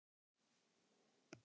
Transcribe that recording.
En uppkast Sólrúnar hljóðar svo